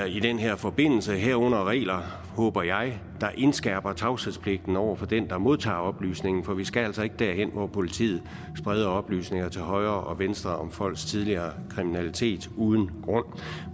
i den her forbindelse herunder regler håber jeg der indskærper tavshedspligten over for den der modtager oplysningen for vi skal altså ikke derhen hvor politiet spreder oplysninger til højre og venstre om folks tidligere kriminalitet uden grund